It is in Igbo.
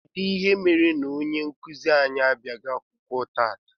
Kedụ ihe mere na ọnye nkuzi anyị abiaghi akwụkwọ tata?